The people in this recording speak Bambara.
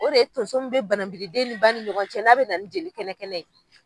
O de ye tonso mun bɛ bananbidi den ni ba ni ɲɔgɔncɛ n'a bɛ na ni jeli kɛnɛ kɛnɛ ye.